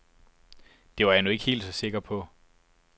Det var jeg nu ikke helt så sikker på.